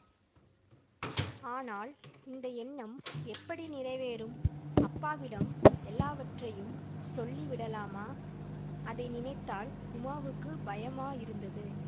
ஆனால் இந்த எண்ணம் எப்படி நிறைவேறும் அப்பாவிடம் எல்லாவற்றையும் சொல்லி விடலாமா அதை நினைத்தால் உமாவுக்கு பயமாயிருந்தது